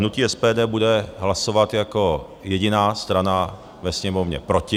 Hnutí SPD bude hlasovat jako jediná strana ve Sněmovně proti.